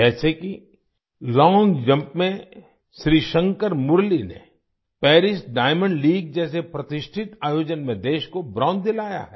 जैसे कि long jump में श्रीशंकर मुरली ने पारिस डायमंड लीग जैसे प्रतिष्ठित आयोजन में देश को ब्रोंज दिलाया है